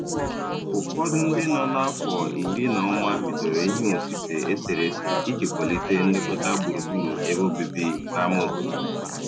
Ụfọdụ ndị nọ n'afọ iri na ụma bidoro ihe osise eserese iji kwalite nlekọta gburugburu ebe obibi n'ámá obodo.